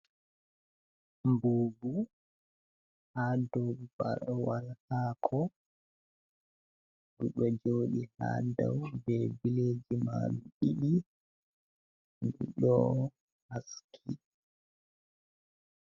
Mbubu hadow bawal hako ɗo joɗi ha dau be billeji majum ɗiɗi ɗo haski.